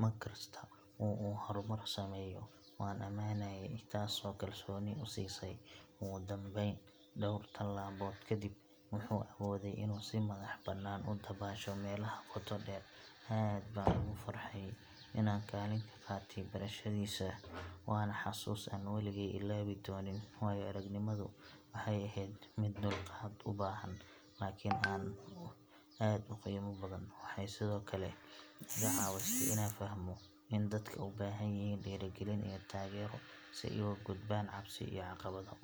Mar kasta oo uu horumar sameeyo, waan ammaanayay, taas oo kalsooni u siisay. Ugu dambayn, dhowr todobaad kadib, wuxuu awooday inuu si madax-bannaan u dabaasho meelaha qoto dheer. Aad baan ugu farxay inaan kaalin ka qaatay barashadiisa, waana xusuus aan weligay ilaawi doonin. Waayo-aragnimadu waxay ahayd mid dulqaad u baahan, laakiin aad u qiimo badan. Waxay sidoo kale iga caawisay inaan fahmo in dadka u baahan yihiin dhiirrigelin iyo taageero si ay uga gudbaan cabsi iyo caqabado.